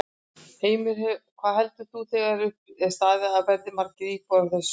Heimir: Hvað heldur þú þegar upp er staðið að verði margar íbúðir á þessu svæði?